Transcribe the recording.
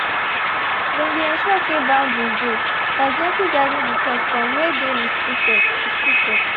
they been ensure say boundaries dey by gently guiding the pet from wey dey restricted restricted